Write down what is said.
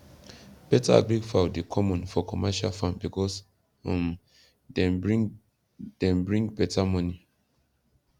beta agric fowl dey common for commercial farm because um dem bring dem bring beta money